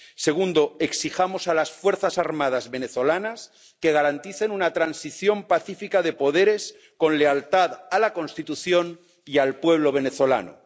Segundo exijamos a las fuerzas armadas venezolanas que garanticen una transición pacífica de poderes con lealtad a la Constitución y al pueblo venezolano.